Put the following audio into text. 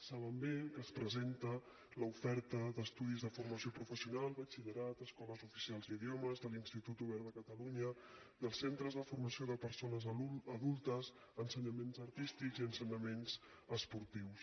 saben bé que s’hi presenta l’oferta d’estudis de formació professional batxillerat escoles oficials d’idiomes de l’ institut obert de catalunya dels centres de formació de persones adultes ensenyaments artístics i ensenyaments esportius